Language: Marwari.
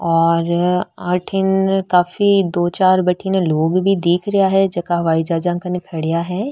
और अठीने काफी दो चार बठन लोग भी दिख रहा है जेकाँ हवाई जहाज कन खड़ा है।